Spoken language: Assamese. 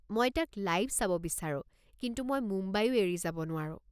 মই তাক লাইভ চাব বিচাৰোঁ, কিন্তু মই মুম্বাইও এৰি যাব নোৱাৰো।